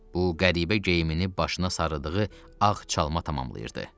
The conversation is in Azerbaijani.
Bu qəribə geyimini başına sarıdığı ağ çalma tamamlayırdı.